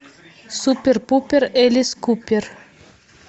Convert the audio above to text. супер пупер элис купер